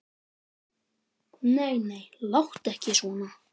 Nei, nei, láttu ekki svona.